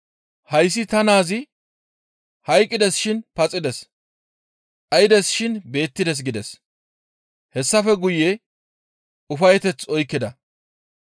Hayssi ta naazi hayqqides shin paxides; dhaydes shin beettides› gides; hessafe guye ufayeteth oykkida.